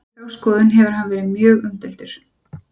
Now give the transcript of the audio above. Fyrir þá skoðun hefur hann verið mjög umdeildur.